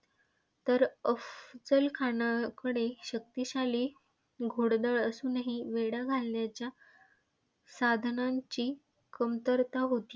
तर अफझल खानाकडे शक्तिशाली घोडदळ असूनही वेढा घालण्याच्या साधनांची कमतरता होती.